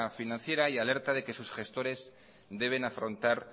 financiera y alerta de que sus gestores deben afrontar